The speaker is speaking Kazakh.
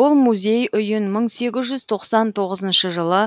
бұл музей үйін мың сегіз жүз тоқсан тоғызыншы жылы